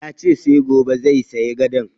Ya ce sai gobe zai sayi gadon